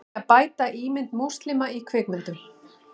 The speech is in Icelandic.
Vilja bæta ímynd múslima í kvikmyndum